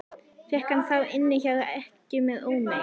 Fékk hann þá inni hjá ekkju með ómegð.